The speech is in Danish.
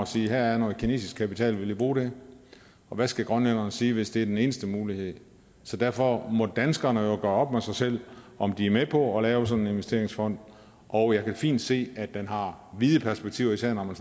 siger her er noget kinesisk kapital vil i bruge det og hvad skal grønlænderne sige hvis det er den eneste mulighed så derfor må danskerne jo gøre op med sig selv om de er med på at lave sådan en investeringsfond og jeg kan fint se at den har vide perspektiver især når man